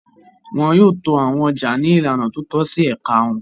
Wọn yóò to àwọn ọjà ní ìlànà tó tọ́ sí ẹ̀ka wọn.